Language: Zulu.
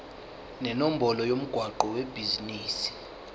nenombolo yomgwaqo webhizinisi